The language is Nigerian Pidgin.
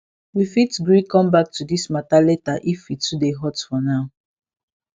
we fit gree come back to this matter later if e too dey hot for now